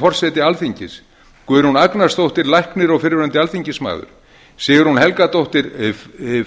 forseti alþingis guðrún agnarsdóttir læknir og fyrrverandi alþingismaður sigrún helgadóttir